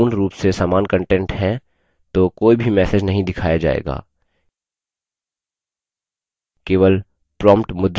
यदि दो files में पूर्ण रूप से समान कंटेंट है तो कोई भी message नहीं दिखाया जायेगा